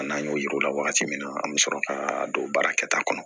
An n'an y'o yir'u la wagati min na an bɛ sɔrɔ ka don baara kɛta kɔnɔ